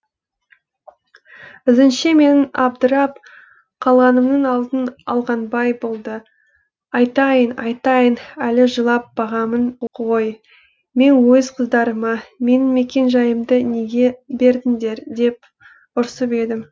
ізінше менің абдырап қалғанымның алдын алғанбай болды айтайын айтайын әлі жылап бағамын ғой мен өз қыздарыма менің мекен жайымды неге бердіңдер деп ұрсып едім